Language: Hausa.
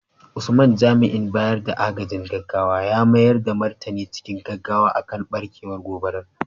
Usman, jami’in bayar da agajin gaggawa ya mayar da martani cikin gaggawa kan barkewar gobarar.